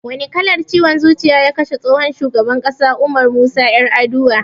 Wani kallar ciwon zuciya ya kashe tsohon shugaban ƙasa Umar Musa Yar'adua